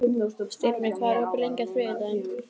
Styrmir, hvað er opið lengi á þriðjudaginn?